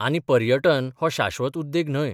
आनी पर्यटन हो शाश्वत उद्येग न्हय.